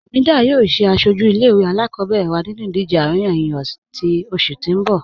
Hamedah yọọ sẹ asọju ilẹ̀-ìwé alákọbẹ̀rẹ̀ wa nínú idìje aríyànjíyàn ni ọṣẹ̀ ti n bọ̀.